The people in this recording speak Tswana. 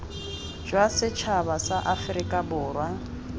jwa setšhaba sa aforika borwa